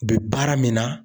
U be baara min na